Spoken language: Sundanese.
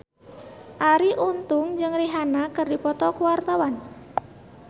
Arie Untung jeung Rihanna keur dipoto ku wartawan